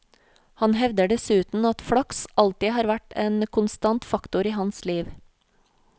Han hevder dessuten at flaks alltid har vært en konstant faktor i hans liv.